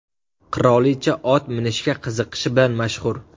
Qirolicha ot minishga qiziqishi bilan mashhur.